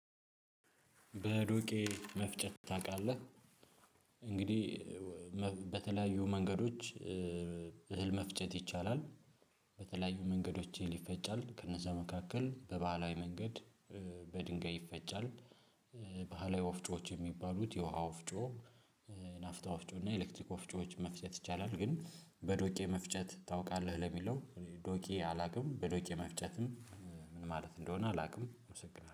ዱቄት መፍጨት ታውቃለህ። እንግዲህ በተለያዩ መንገዶች እህል መፍጨት ይቻላል። በተለያዩ መንገዶችን ይፈጫል ከነዛ መካከል በባህላዊ መንገድ በድንጋይ ይፈጫል። ባህላዊ ወፍጮዎች የሚባሉት የውሃ ወፍጮ ናፍጦ እና ኤሌክትሪክ ኮፍጮዎች መፍጨት ይቻላል። ግን በዶቄ መፍጨት ታውቃለህ ለሚለው ዶቄ አላውቅም። በዶቄ መፍጨትም ምን ማለት እንደሆነ አላውቅም። አመሰግናለሁ